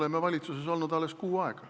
Me oleme valitsuses olnud alles kuu aega.